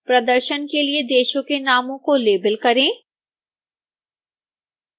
प्रदर्शन के लिए देशों के नामों को लेबल करें